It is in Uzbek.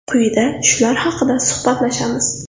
Quyida shular haqida suhbatlashamiz.